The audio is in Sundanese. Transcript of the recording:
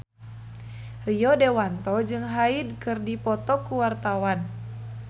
Rio Dewanto jeung Hyde keur dipoto ku wartawan